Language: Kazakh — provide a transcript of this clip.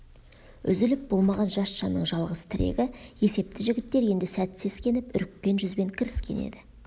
үзіліп болмаған жас жанның жалғыз тірегі есепті жігіттер енді сәт сескеніп үріккен жүзбен кіріскен еді